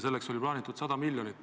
Selleks oli plaanitud 100 miljonit.